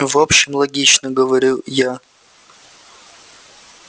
в общем логично говорю я